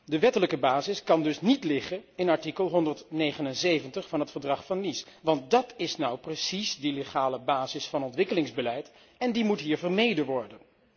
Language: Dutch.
De wettelijke basis kan dus niet liggen in artikel 179 van het Verdrag van Nice, want dat is nu precies die wettelijke basis van ontwikkelingsbeleid en die moet hier vermeden worden.